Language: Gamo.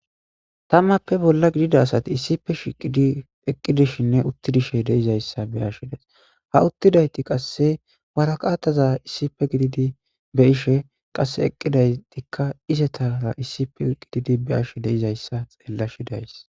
tammappe bolla gidida asati issife shiqidi eqqidishinne uttidishe deizayssa beashshidays ha uttidayti qasse waraqataza issife gididi be ishe qasse eqqidaytikka izetara issife qididi be ashe deizayssa xeella shidays